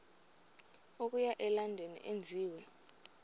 okuya elondon enziwe